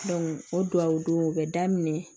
o duwawu dow bɛ daminɛ